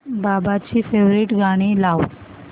बाबांची फेवरिट गाणी लाव